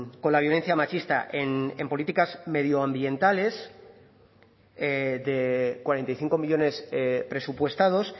con la violencia machista en políticas medioambientales de cuarenta y cinco millónes presupuestados